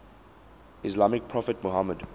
islamic prophet muhammad